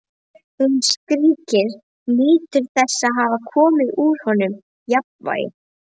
Hún skríkir, nýtur þess að hafa komið honum úr jafnvægi.